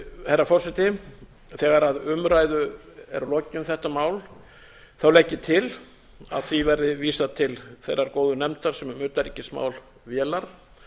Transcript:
herra forseti þegar umræðu er lokið um þetta mál legg ég til að því verði vísað til þeirrar góðu nefndar sem um utanríkismál vélar